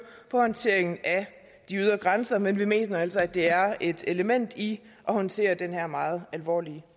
på håndteringen af de ydre grænser men vi mener altså at det er et element i at håndtere den her meget alvorlige